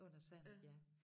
Under Sandet ja